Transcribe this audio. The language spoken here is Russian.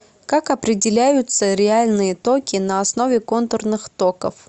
как определяются реальные токи на основе контурных токов